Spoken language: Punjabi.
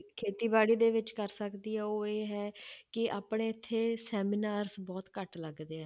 ਖੇਤੀਬਾੜੀ ਦੇ ਵਿੱਚ ਕਰ ਸਕਦੀ ਹੈ ਉਹ ਇਹ ਹੈ ਕਿ ਆਪਣੇ ਇੱਥੇ seminars ਬਹੁਤ ਘੱਟ ਲੱਗਦੇ ਹੈ